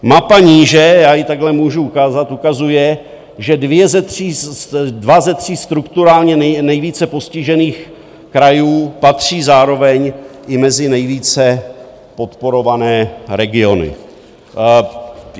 Mapa níže - já ji takhle můžu ukázat - ukazuje, že dva ze tří strukturálně nejvíce postižených krajů patří zároveň i mezi nejvíce podporované regiony.